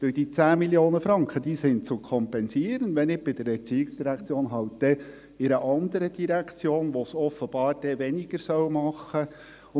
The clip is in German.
Denn: Die 10 Mio. Franken «sind […] zu kompensieren» – wenn nicht bei der ERZ, dann halt in einer anderen Direktion, in der es offenbar weniger ausmachen würde.